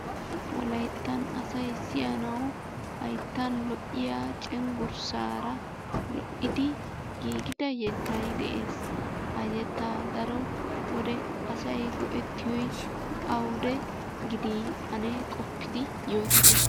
Wolayttan asay siyyanaw hayttan lo"iya cenggurssaara lo"idi giigida yettay de'ees. Ha yettaa daro wode asay go"ettiyo awude gidi ane qopidi yootite.